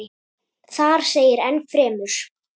Þar segir enn fremur